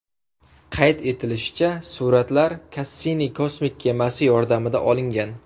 Qayd etilishicha, suratlar Kassini kosmik kemasi yordamida olingan.